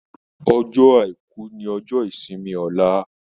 Ọjọ́ aìkú ní ojó ìsimi Ola